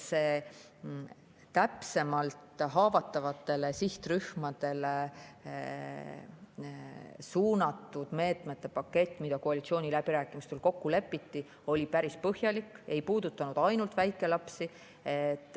See haavatavatele sihtrühmadele suunatud meetmete pakett, mis koalitsiooniläbirääkimistel kokku lepiti, on päris põhjalik, see ei puuduta ainult väikelapsi.